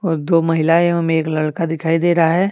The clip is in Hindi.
और दो महिलाए एवं एक लड़का दिखाई दे रहा है।